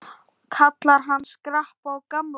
Kalla hann Skarpa og gamla!